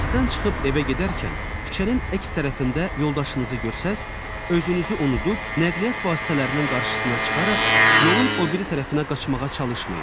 Dərsdən çıxıb evə gedərkən küçənin əks tərəfində yoldaşınızı görsəz, özünüzü unudub nəqliyyat vasitələrinin qarşısına çıxaraq yolun o biri tərəfinə qaçmağa çalışmayın.